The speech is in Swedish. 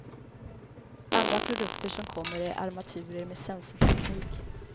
Andra produkter som kommer är armaturer med sensorteknik.